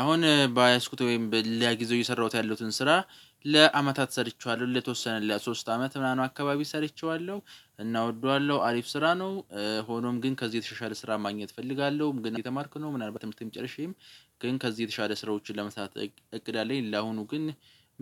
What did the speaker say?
አሁን በያዝኩት ወይም በሌላ ጊዜ እየሰራሁት ያለሁትን ስራ ለአመታት ሰርቼዋለሁ ለተወሰነ ለሶስት አመት ምናምን አካባቢ ሰርቼዋለሁ። እና እወደዋለሁ አሪፍ ስራ ነው። ሆኖም ግን ከዚህ የተሻሻለ ስራ ማግኘት እፈልጋለሁ። ግን እየተማርኩ ነው ምናልባት ትምህርተን ጨርሼ ግን ከዚህ የተሻለ ስራዎችን ለመስራት እቅድ አለኝ። ለአሁኑ ግን